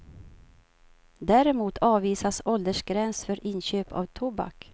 Däremot avvisas åldersgräns för inköp av tobak.